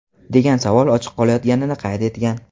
degan savol ochiq qolayotganini qayd etgan.